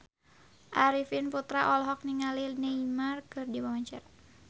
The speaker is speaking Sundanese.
Arifin Putra olohok ningali Neymar keur diwawancara